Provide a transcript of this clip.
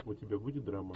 у тебя будет драма